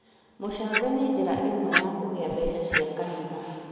Mũcango nĩ njĩra ĩmwe ya kũgĩa mbeca cia kanitha